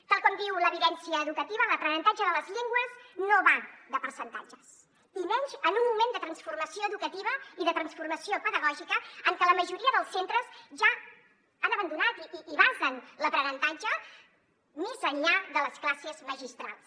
tal com diu l’evidència educativa l’aprenentatge de les llengües no va de percentatges i menys en un moment de transformació educativa i de transformació pedagògica en què la majoria dels centres ja han abandonat i basen l’aprenentatge més enllà de les classes magistrals